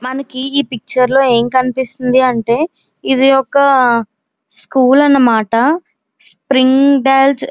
మనకి ఈ పిక్చర్ లో ఏం కనిపిస్తుంది అంటే ఇది ఒక స్కూల్ అన్నమాట స్ప్రింగ్దాల్స్ --